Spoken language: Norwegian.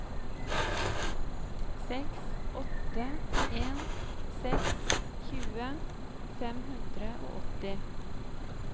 seks åtte en seks tjue fem hundre og åtti